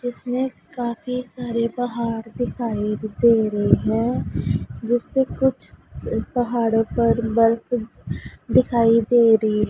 इसमें काफ़ी सारे पहाड़ दिखाई दे रहे हैं जिसपे कुछ पहाड़ों पर बर्फ दिखाई दे रही--